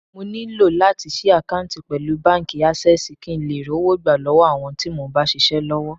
Mo nílò láti ṣí àkántì pẹ̀lú báńkì Ásẹ́sìì kín ńlè rówó gbà lọ́wọ́ àwọn tí mo ń bá ṣisẹ́ l'ọ́wọ́.